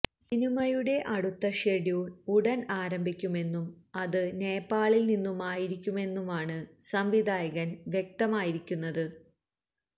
സിനിമയുടെ അടുത്ത ഷെഡ്യൂള് ഉടന് ആരംഭിക്കുമെന്നും അത് നേപ്പാളില് നിന്നുമായിരിക്കുമെന്നുമാണ് സംവിധായകന് വ്യക്തമാക്കിയിരിക്കുന്നത്